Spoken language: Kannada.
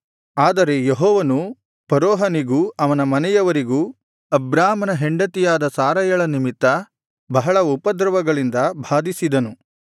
ಆದರೆ ಯೆಹೋವನು ಫರೋಹನಿಗೂ ಅವನ ಮನೆಯವರಿಗೂ ಅಬ್ರಾಮನ ಹೆಂಡತಿಯಾದ ಸಾರಯಳ ನಿಮಿತ್ತ ಬಹಳ ಉಪದ್ರವಗಳಿಂದ ಬಾಧಿಸಿದನು